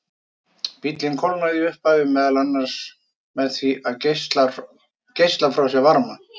Bíllinn kólnaði í upphafi meðal annars með því að geisla frá sér varma.